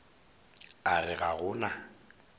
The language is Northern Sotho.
a re ga go na